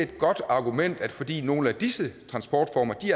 godt argument at fordi nogle af disse transportformer